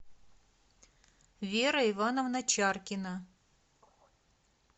вера ивановна чаркина